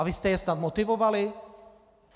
A vy jste je snad motivovali?